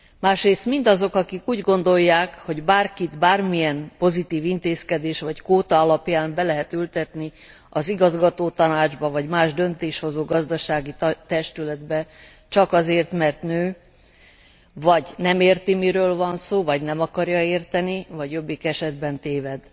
Másrészt mindazok, akik úgy gondolják, hogy bárkit, bármilyen pozitív intézkedés vagy kvóta alapján be lehet ültetni az igazgatótanácsba vagy más döntéshozó gazdasági testületbe csak azért, mert nő, vagy mert nem érti, miről van szó, vagy nem akarja érteni, vagy jobbik esetben téved.